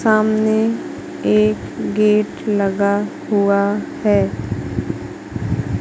सामने एक गेट लगा हुआ है।